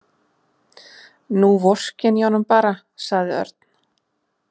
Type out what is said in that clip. Nú vorkenni ég honum bara, sagði Örn.